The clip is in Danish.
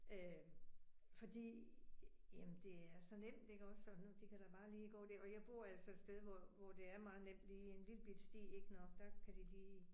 Øh fordi jamen det er så nemt ikke også så nu de kan da bare lige gå der, og jeg bor altså et sted, hvor hvor det er meget nemt lige. En lillebitte sti ik, nåh der kan de lige